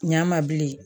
Ɲ'a ma bilen